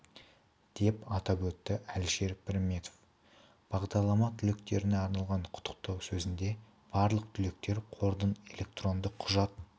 деп атап өтті әлішер пірметов бағдарлама түлектеріне арналған құттықтау сөзінде барлық түлектер қордың электронды құжат